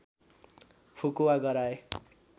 फुकुवा गराए